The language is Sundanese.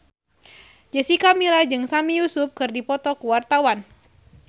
Jessica Milla jeung Sami Yusuf keur dipoto ku wartawan